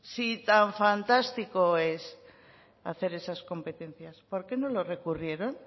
si tan fantástico es hacer esas competencias por qué no lo recurrieron